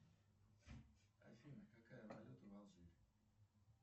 афина какая валюта в алжире